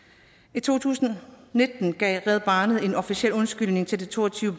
i to tusind og nitten gav red barnet en officiel undskyldning til de to og tyve